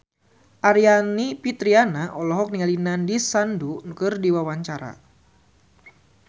Aryani Fitriana olohok ningali Nandish Sandhu keur diwawancara